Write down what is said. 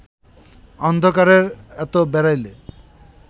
অন্ধকারে এত বেড়াইলে